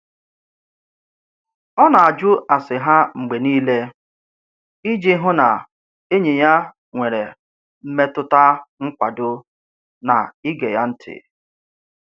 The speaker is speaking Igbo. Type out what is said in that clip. Ọ na-ajụ ase ha mgbe niile iji hụ na enyi ya nwere mmetụta nkwado na ige ya ntị.